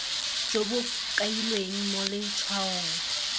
jo bo kailweng mo letshwaong